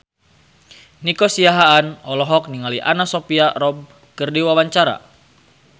Nico Siahaan olohok ningali Anna Sophia Robb keur diwawancara